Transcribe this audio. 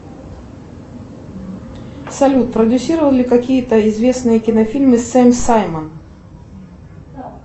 салют продюссировал ли какие то известные кинофильмы сэм саймон